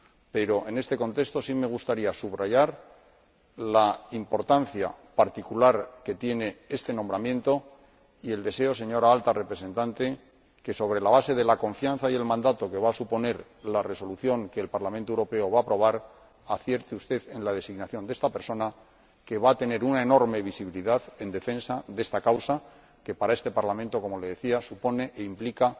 Pero, en este contexto, sí me gustaría subrayar la importancia particular que tiene este nombramiento y el deseo, señora Alta Representante, de que, sobre la base de la confianza y del mandato que va a suponer la resolución que va a aprobar el Parlamento Europeo, acierte usted en la designación de esta persona, que va a tener una enorme visibilidad en defensa de esta causa que, para este Parlamento como le decía supone e implica